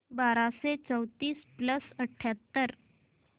बाराशे चौतीस प्लस अठ्याहत्तर